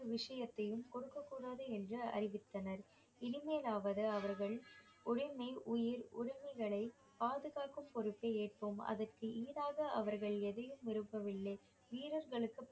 விஷயத்தையும் கொடுக்கக் கூடாது என்று அறிவித்தனர் இனிமேலாவது அவர்கள் உடைமை உயிர் உடைமைகளை பாதுகாக்கும் பொறுப்பை ஏற்போம் அதற்கு ஈடாக அவர்கள் எதையும் விரும்பவில்லை வீரர்களுக்கு